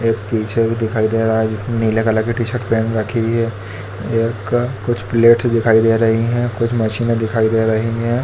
एक पीछे भी दिखाई दे रहा है जिसने नीले कलर की टी शर्ट पहन रखी हुई है एक कुछ प्लेटस दिखाई दे रही है कुछ मशीने दिखाई दे रही है।